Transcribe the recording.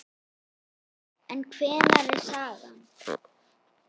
En hver er sagan?